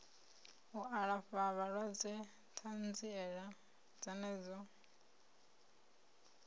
u alafha vhalwadze ṱanziela dzenedzo